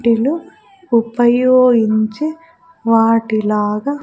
వాటిలో ఉపయోగించి వాటిలాగా --